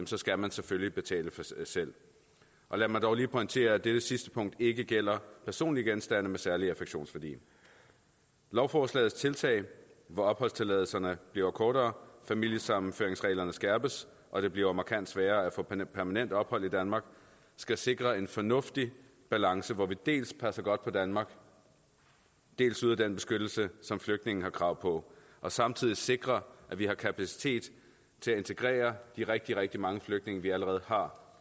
så skal man selvfølgelig betale selv og lad mig dog lige pointere at dette sidste punkt ikke gælder personlige genstande med særlig affektionsværdi lovforslagets tiltag hvor opholdstilladelserne bliver kortere familiesammenføringsreglerne skærpes og det bliver markant sværere at få permanent ophold i danmark skal sikre en fornuftig balance hvor vi dels passer godt på danmark dels yder den beskyttelse som flygtninge har krav på og samtidig sikrer at vi har kapacitet til at integrere de rigtig rigtig mange flygtninge vi allerede har